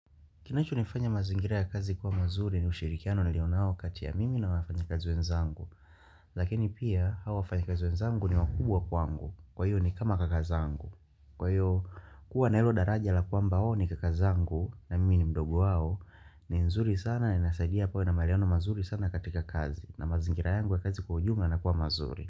Kinacho nifanya mazingira ya kazi kuwa mazuri ni ushirikiano nilionao kati ya mimi na wafanya kazi we nzangu, lakini pia hawa fanya kazi wenzangu ni wakubwa kwangu. Kwa hiyo ni kama kakazangu. Kwa hiyo kuwa na hilo daraja la kwa mbao ni kakazangu na mimi ni mdogo hao ni nzuri sana na inasaidia pale na maleona mazuri sana katika kazi na mazingira yangu ya kazi kwa ujumla yanakuwa mazuri.